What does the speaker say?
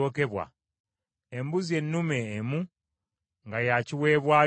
embuzi ennume emu nga ya kiweebwayo olw’ekibi;